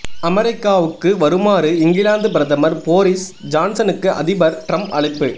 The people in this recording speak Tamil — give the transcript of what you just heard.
அமெரிக்காவுக்கு வருமாறு இங்கிலாந்து பிரதமர் போரிஸ் ஜான்சனுக்கு அதிபர் டிரம்ப் அழைப்பு